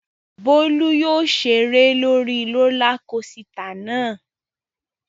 Bólú yóò ṣeré lórí rólá kosità náà.